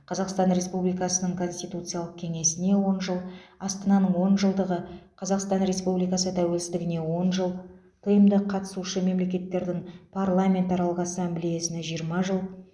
қазақстан республикасының конституциялық кеңесіне он жыл астананың он жылдығы қазақстан республикасы тәуелсіздігіне он жыл тмд қатысушы мемлекеттердің парламентаралық ассамблеясына жиырма жыл